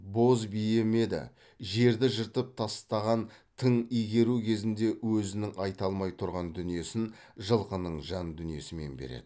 боз бие ме еді жерді жыртып тастаған тың игеру кезінде өзінің айта алмай тұрған дүниесін жылқының жан дүниесімен береді